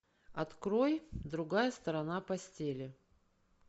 открой другая сторона постели